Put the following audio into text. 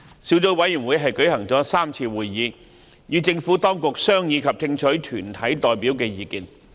小組委員會舉行了3次會議，與政府當局商議及聽取團體代表的意見。